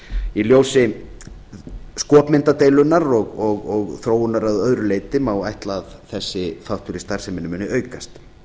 í ljósi skopmyndadeilunnar og þróunar að öðru leyti má ætla að þessi þáttur í starfseminni muni aukast